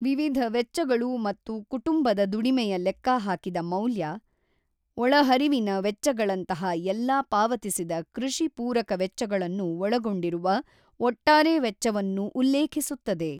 ವಿವಿಧ ವೆಚ್ಚಗಳು ಮತ್ತು ಕುಟುಂಬದ ದುಡಿಮೆಯ ಲೆಕ್ಕಹಾಕಿದ ಮೌಲ್ಯ, ಒಳಹರಿವಿನ ವೆಚ್ಚಗಳಂತಹ ಎಲ್ಲಾ ಪಾವತಿಸಿದ ಕೃಷಿ ಪೂರಕ ವೆಚ್ಚಗಳನ್ನು ಒಳಗೊಂಡಿರುವ ಒಟ್ಟಾರೆ ವೆಚ್ಚವನ್ನು ಉಲ್ಲೇಖಿಸುತ್ತದೆ.